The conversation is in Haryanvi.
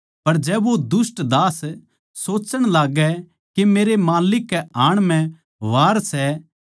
पर जै वो दुष्ट दास सोच्चण लाग्गै के मेरै माल्लिक कै आण म्ह वार सै